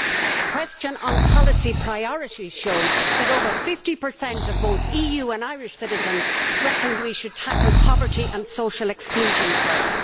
A question on policy priorities showed that over 50 of both EU and Irish citizens reckoned we should tackle poverty and social exclusion first.